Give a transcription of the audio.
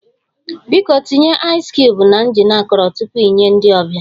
Biko tinye aịzị cubuu na jin akọrọ tupu ị nye ndị ọbịa